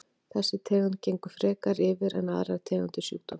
Þessi tegund gengur frekar yfir en aðrar tegundir sjúkdómsins.